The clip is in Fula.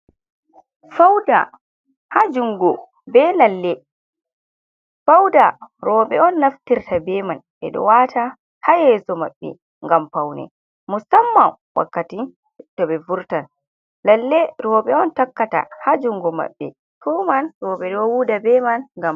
Fauda ha jungo be lalle. Fauda roɓe on naftirta be man ɓeɗo wata ha yeso maɓɓe ngam faune. Musamman wakkati to ɓe vurtan. Lalle roɓe on takkata ha jungo maɓɓe. Fuman roɓe ɗo huda be man ngam...